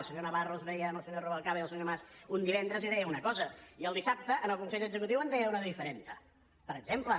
el senyor navarro es veia amb el senyor rubalcaba i el senyor mas un divendres i deia una cosa i el dissabte en el consell executiu en deia una de diferent per exemple